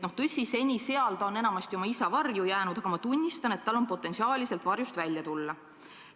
Tõsi, seni on ta seal enamasti oma isa varju jäänud, aga ma tunnistan, et tal on potentsiaali sealt varjust välja tulla.